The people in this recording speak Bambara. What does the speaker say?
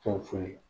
Fɛn foyi